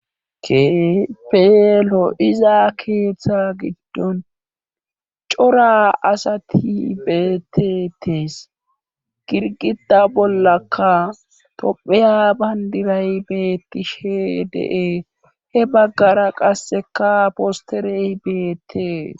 keehipe lo iza keeththa giddon cora asati betetees girgida bollaka topheya bayndiray beettishe de7e he baggara qasseka posterey beettees